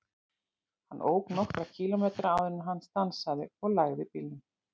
Hann ók nokkra kílómetra áður en hann stansaði og lagði bílnum.